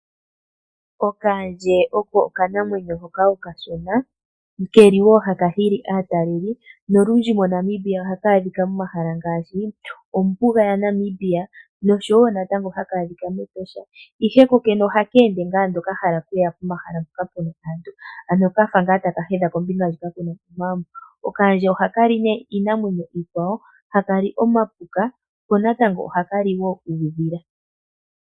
Okaandje oko okanamwenyo hoka okashona ke li wo haka hili aatalelipo nolundji moNamibia ohaka adhika momahala ngaashi ombuga yaNamibia noshowo natango haka adhika mEtosha, ihe kokene ohaka ende ngaa ando ka hala okuya pomahala mpoka pu na aantu, ano ka fa ngaa ta ka hedha kombinga ndjoka ku na omagumbo. Okaandje ohaka li nee iinamwenyo iikwawo, haka li omapuka ko natango ohaka li wo uudhila.